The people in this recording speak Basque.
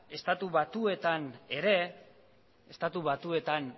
estatu batuetan